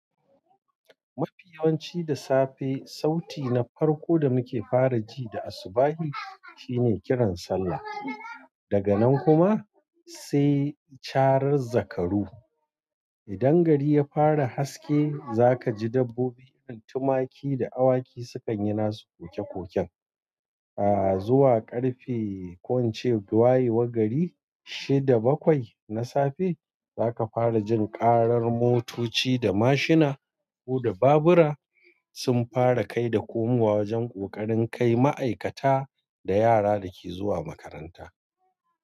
Mafi yawanci da safe, sauti na farko da muke fara ji da asbahi, shine kiran sallah. Daga nan kuma, sai carar zakaru. Idan gari ya fara haske, za ka ji dabbobin irin tumaki da awaki sukan yi nasu koke-koken. A zuwa ƙarfe ko ince waye war gari, shida bakwai na safe, za ka fara jin karar motoci da mashina ko da babura sun fara kai da komowa wajen ƙoƙarin kai ma'aikata da yara dake zuwa makaranta.